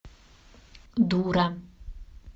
дура